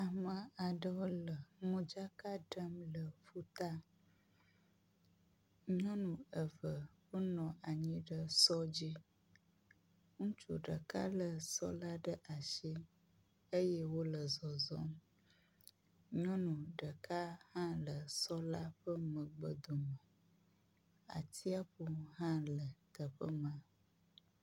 Ame aɖewo le modzaka ɖem le ƒuta. Nyɔnu eve wonɔ anyi ɖe sɔ dzi. Ŋutsu ɖeka le sɔ la ɖe asi eye wo le zɔzɔm. Nyɔnu ɖeka hã le sɔ la ƒe megbe dome. Atiaƒu hã le teƒe ma.